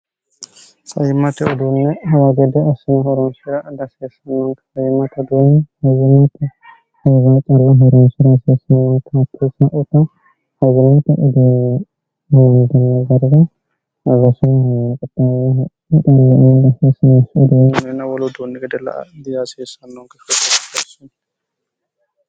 saimmate uduunne hawagede asi horonfira diasiessnnoonkyimmteduw heginoote higa cir hirisira asiessmootate saota hagarati udumomiginy garara arasuhqommhiillieinhisinesi uduny mena wolotuunni gede la a diyaasiessannonke goigersuni